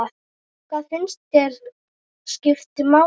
Hvað finnst þér skipta máli?